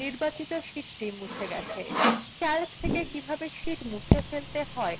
দেখুন নির্বাচিত sheetsthe গেছে